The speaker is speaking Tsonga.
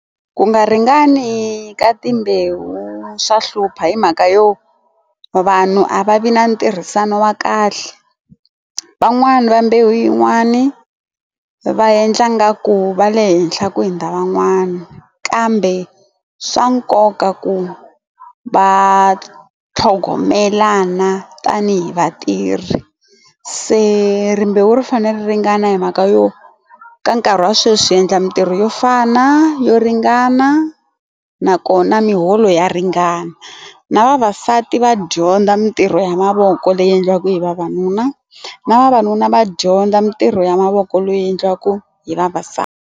Ku nga ringani ka timbewu swa hlupha hi mhaka yo vanhu a va vi na ntirhisano wa kahle van'wani va mbewu yin'wani va endla nga ku va le henhla ku hundza van'wana kambe swa nkoka ku va tlhogomelana tanihi vatirhi se rimbewu ri fanele ri ringana hi mhaka yo ka nkarhi wa sweswi hi endla mitirho yo fana yo ringana na kona miholo ya ringana na vavasati va dyondza mitirho ya mavoko leyi endliwaka hi vavanuna na vavanuna va dyondza mitirho ya mavoko loyi endliwaka hi .